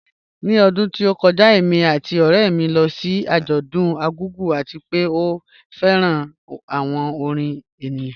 Ni ọdún tó kọ́jà, èmi àti ọ̀rẹ̀ mi lọ sí ajọ̀dún Argungu, àti pẹ̀ à fẹ́ran awọn orin ènìyàn